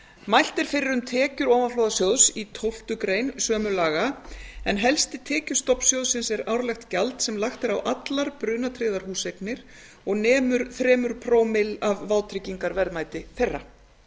mælt er fyrir um tekjur ofanflóðasjóðs í tólftu grein sömu laga en helsti tekjustofn sjóðsins er árlegt gjald sem lagt er á allar brunatryggðar húseignir og nemur þremur pro má af vátryggingarverðmæti þeirra